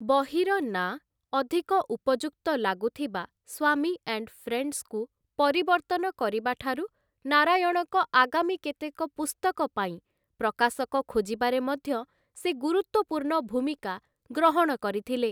ବହିର ନାଁ, ଅଧିକ ଉପଯୁକ୍ତ ଲାଗୁଥିବା 'ସ୍ୱାମୀ ଆଣ୍ଡ୍‌ ଫ୍ରେଣ୍ଡସ୍‌'କୁ ପରିବର୍ତ୍ତନ କରିବା ଠାରୁ ନାରାୟଣଙ୍କ ଆଗାମୀ କେତେକ ପୁସ୍ତକ ପାଇଁ ପ୍ରକାଶକ ଖୋଜିବାରେ ମଧ୍ୟ ସେ ଗୁରୁତ୍ୱପୂର୍ଣ୍ଣ ଭୂମିକା ଗ୍ରହଣ କରିଥିଲେ ।